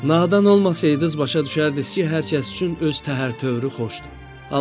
Nadan olmasaydınız başa düşərdiniz ki, hər kəs üçün öz təhər-tövri xoşdur.